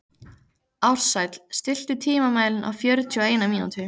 Ársæll, stilltu tímamælinn á fjörutíu og eina mínútur.